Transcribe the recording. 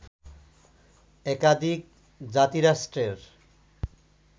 একাধিক জাতিরাষ্ট্রের